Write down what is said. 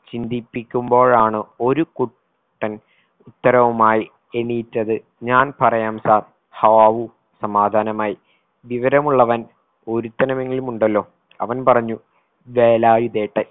ചിന്തിപ്പിക്കുമ്പോഴാണ് ഒരു കു ട്ടൻ ഉത്തരവുമായി എണീറ്റത് ഞാൻ പറയാം sir ഹാവൂ സമാധാനമായി വിവരമുള്ളവൻ ഒരുത്തനുമെങ്കിലുമുണ്ടല്ലോ അവൻ പറഞ്ഞു വേലായുധേട്ടൻ